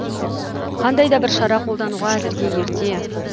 қандай да бір шара қолдануға әзірге ерте